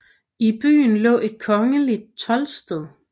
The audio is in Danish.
I byen lå et kongeligt toldsted